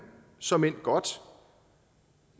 såmænd godt